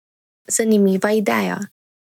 Zanimiva ideja.